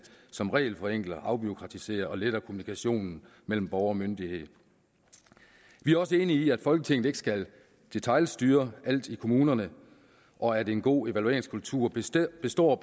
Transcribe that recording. som regelforenkler afbureaukratiserer og letter kommunikationen mellem borgere og myndigheder vi er også enige i at folketinget ikke skal detailstyre alt i kommunerne og at en god evalueringskultur bestemt består